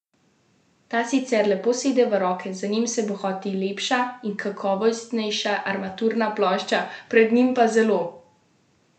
Ta sicer lepo sede v roke, za njim se bohoti lepša in kakovostnejša armaturna plošča, pred njim pa zelo udobna prednja sedeža.